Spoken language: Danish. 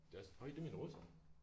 Det er også hov det er mine russer